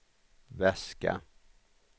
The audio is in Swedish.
väska